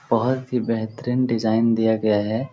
बहुत ही बेहतरीन डिजाइन दिया गया है।